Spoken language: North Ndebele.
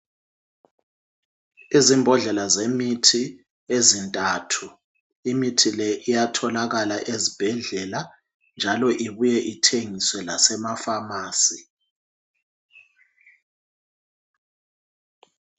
Izimbodlela zemithi ezintathu, imithi le iyatholakala ezibhedlela njalo ibuye ithengiswe lasemapharmacy.